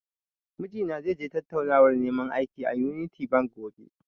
Mijina zai je tattaunawar neman aiki, a "Unity bank", gobe.